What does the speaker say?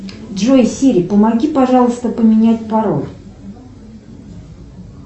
джой сири помоги пожалуйста поменять пароль